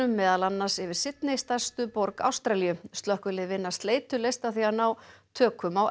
meðal annars yfir Sydney stærstu borg Ástralíu slökkvilið vinna sleitulaust að því að ná tökum á